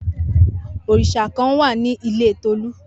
Orisa kan wa ni ile Tolu.